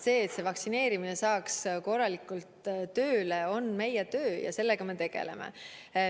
See, et see vaktsineerimine saaks korralikult tööle, on meie töö ja sellega me tegeleme.